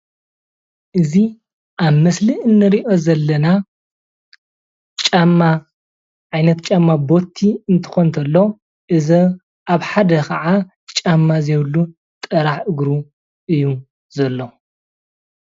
እዚ ኣብ ምስሊ እንሪኦ ዘለና ጫማ ዓይነት ጫማ ቦቲ እትኮን ተሎ እዚ ኣብ ሓደ ከዓ ጫማ ዘይብሉ ጥራሕ እግሩ እዩ ዘሎ።